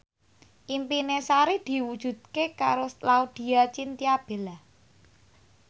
impine Sari diwujudke karo Laudya Chintya Bella